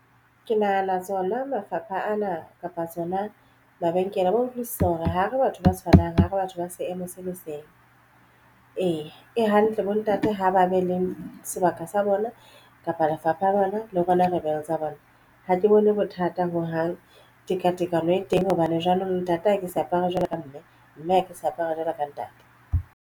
Ke nahana tsona mafapha ana kapa tsona mabenkele a ba utlwisisa hore ha re batho ba tshwanang ho re batho ba seemo se le seng ee, e hantle bo ntate ha ba be le seo sebaka sa bona kapa lefapha bana le rona tsa bona. Ha ke bone bothata ho hang tekatekano e teng hobane jwanong ntate ha ke se apara jwalo ka mme, mme a ke sa apara jwalo ka ntate.